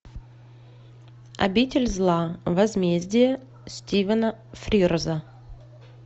обитель зла возмездие стивена фрирза